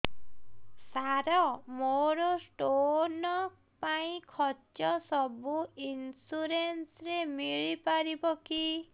ସାର ମୋର ସ୍ଟୋନ ପାଇଁ ଖର୍ଚ୍ଚ ସବୁ ଇନ୍ସୁରେନ୍ସ ରେ ମିଳି ପାରିବ କି